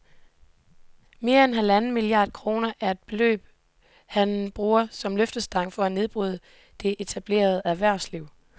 Mere end halvanden milliard kroner er det beløb, han bruger som løftestang til at nedbryde det etablerede erhvervsliv